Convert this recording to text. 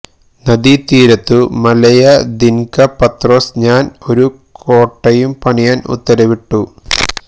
നദീതീരത്തു മലയ ദ്വിന്ക പത്രോസ് ഞാൻ ഒരു കോട്ടയും പണിയാൻ ഉത്തരവിട്ടു